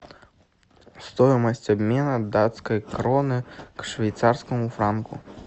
стоимость обмена датской кроны к швейцарскому франку